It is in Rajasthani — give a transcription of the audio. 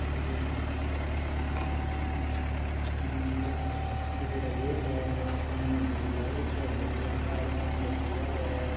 ये एक मस्जिद है मायने छोटा छोटा बड़ा बड़ा गेट है सामने झूमर लग रखे है धोले कलर का और सामने एक दीवार है।